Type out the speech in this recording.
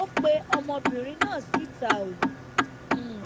ó pe ọmọbìnrin náà síta ó um